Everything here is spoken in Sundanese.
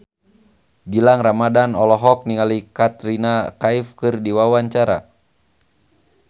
Gilang Ramadan olohok ningali Katrina Kaif keur diwawancara